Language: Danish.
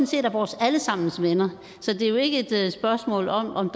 set er vores alle sammens venner så det er jo ikke et spørgsmål om om